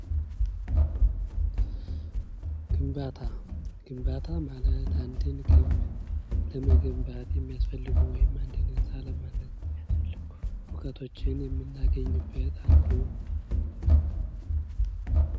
ግንባታ:- ግንባታ ማለት አንድን ግንብ ለመገንባት የሚያስፈልጉ ወይም አንድን ህንፃ ለማነፅ የሚያስፈልጉ እዉቀቶችን የምናገኝበት አንዱ ነዉ።